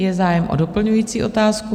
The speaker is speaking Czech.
Je zájem o doplňující otázku.